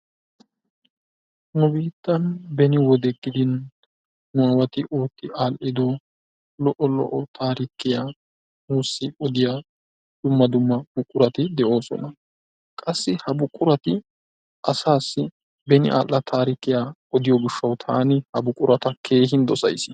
nu biittan beni wode gidin nuwati ootti aadhido lo'o lo'o taarikiya nuusi odiya dumma dumma buqurati deoosona. qassi ha buqurati asaassi beni aadha taarikkiya odiyo gishawu taanqurata keehin dosays.